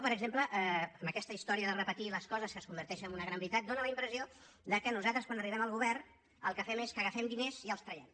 per exemple amb aquesta història de repetir les coses que es converteixen en una gran veritat dóna la impressió que nosaltres quan arribem al govern el que fem és que agafem diners i els traiem